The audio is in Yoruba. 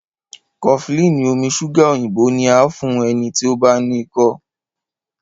cofflin omí ṣuga òyìnbó ti a fún ẹní tí o bá no iko.